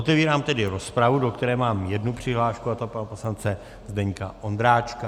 Otevírám tedy rozpravu, do které mám jednu přihlášku, a to pana poslance Zdeňka Ondráčka.